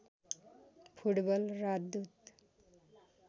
football राजदूत